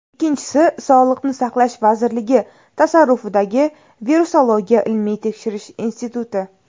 Ikkinchisi, Sog‘liqni saqlash vazirligi tasarrufidagi Virusologiya ilmiy tekshirish instituti.